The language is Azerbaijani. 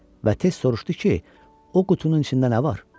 Və tez soruşdu ki, o qutunun içində nə var?